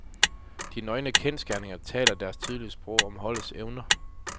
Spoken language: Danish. De nøgne kendsgerninger taler deres tydelige sprog om holdets evner.